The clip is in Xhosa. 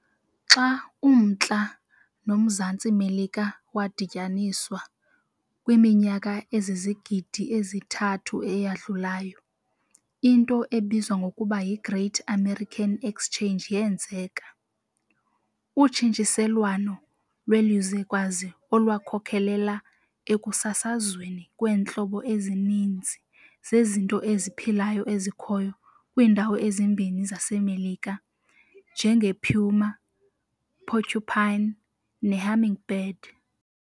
Xa uMntla noMzantsi Melika wadityaniswa, kwiminyaka ezizigidi ezi-3 eyadlulayo, into ebizwa ngokuba yiGreat American Exchange yenzeka, utshintshiselwano lwelizwekazi olwakhokelela ekusasazweni kweentlobo ezininzi zezinto eziphilayo ezikhoyo kwiindawo ezimbini zaseMelika, njengepuma, porcupine, nehummingbird.